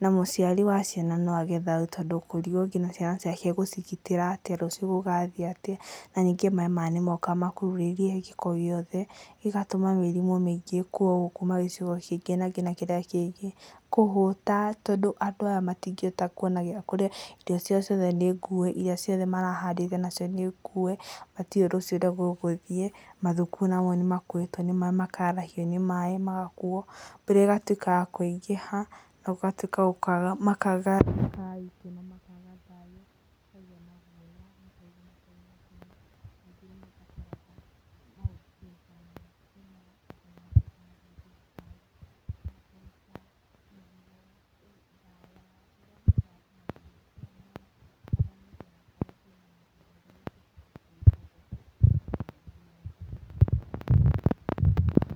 na mũciari wa ciana no age thayũ tondũ ekũrigwo nginya ciana ciake egũcigitĩra atĩa rũcio gũgathiĩ atĩa na ningĩ maĩ nimoka makururĩtie gĩko gĩothe ĩgatũma mĩrimũ mĩingĩ ĩkuo kuma gĩcigo kĩmwe nginya kĩrĩa rĩngĩ, kũhũta tondu andũ aya matingĩhota kuona gĩa kũrĩa irio ciao ciothe nĩngue irio iria nacio marahandĩte nĩngue matiũĩ ũrĩa rũcio gũthiĩ mathukuru namo nimakue nĩ maĩ makarahio nĩ maĩ magakuo mbura ĩgatuĩka ya kũingĩha na gũgatũĩka makaga thayũ.